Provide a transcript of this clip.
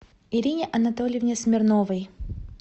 ирине анатольевне смирновой